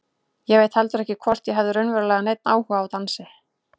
Ég veit heldur ekki hvort ég hafði raunverulega neinn áhuga á dansi.